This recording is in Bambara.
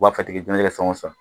U b'a kɛ san o san